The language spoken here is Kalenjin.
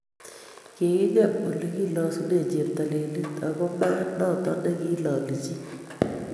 Kikingem olegilasunen cheptailel ago maat noto negilali chi